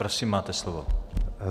Prosím, máte slovo.